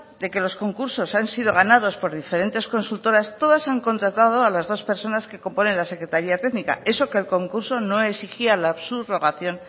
de que los concursos han sido ganados por diferentes consultoras todas han contratado a las dos personas que componen la secretaría técnica eso que el concurso no exigía la subrogación